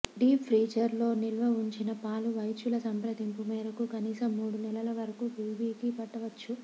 deep freezer లో నిల్వ వుంచిన పాలు వైద్యుల సంప్రదింపు మేరకు కనీసం మూడు నెలలవరకు బేబీకి పట్టవచ్చు